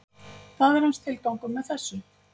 Það er hans tilgangur með þessu